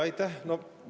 Aitäh!